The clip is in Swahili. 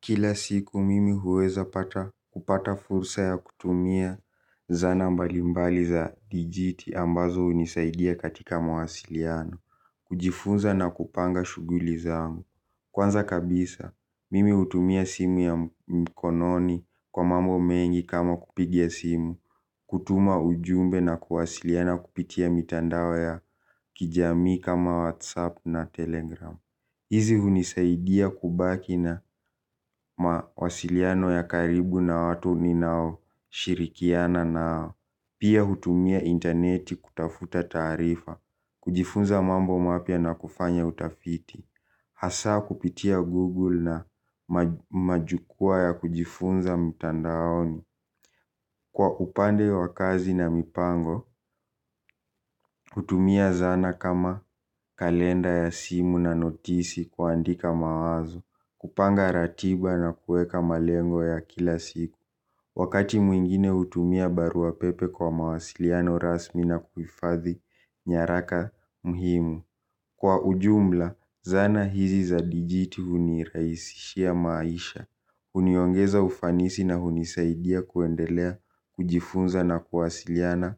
Kila siku mimi huweza kupata fursa ya kutumia zana mbalimbali za digiti ambazo unisaidia katika mawasiliano. Kujifunza na kupanga shuguli zangu. Kwanza kabisa mimi utumia simu ya mkononi kwa mambo mengi kama kupigila simu. Kutuma ujumbe na kuwasiliana kupitia mitandao ya kijami kama whatsapp na telegram. Hizi hunisaidia kubaki na mawasiliano ya karibu na watu ninao shirikiana nao. Pia hutumia interneti kutafuta taarifa, kujifunza mambo mapya na kufanya utafiti. Hasaa kupitia google na majukwa ya kujifunza mtandaoni kwa upande wa kazi na mipango, utumia zana kama kalenda ya simu na notisi kuandika mawazo, kupanga ratiba na kueka malengo ya kila siku, wakati muingine utumia barua pepe kwa mawasiliano rasmi na kuifadhi nyaraka mhimu. Kwa ujumla, zana hizi za dijiti huniraisishia maisha, uniyongeza ufanisi na hunisaidia kuendelea, kujifunza na kuwasiliana